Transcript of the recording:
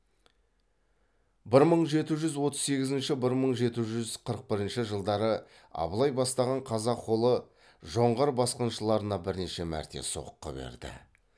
бір мың жеті жүз отыз сегізінші бір мың жеті жүз қырық бірінші жылдары абылай бастаған қазақ қолы жоңғар басқыншылырына бірнеше мәрте соққы берді